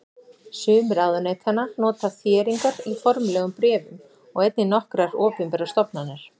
Sum ráðuneytanna nota þéringar í formlegum bréfum og einnig nokkrar opinberar stofnanir.